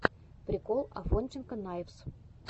прикол афонченко найвз